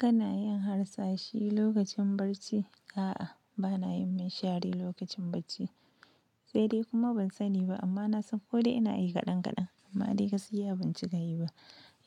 Kana yin harsashi lokacin bacci? A'a bana yin minshari lokacin bacci, sai dai kuma ban sani ba amma na san ko dai ina yi kaɗan kaɗan amma dai gaskiya ban cika yi ba.